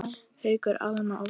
Haukur, Alma og Valur.